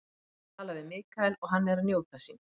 Ég tala mikið við Michael og hann er að njóta sín.